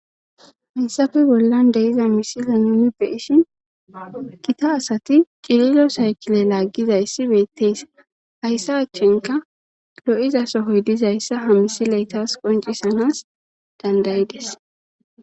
hayssappe bollan de'iza misile nuunu byishin gita asati qililo saykile laaggizayssi beettees hayssa achchenka lo7iza sohoy dizayssa ha misileytas qoncisanas dandayides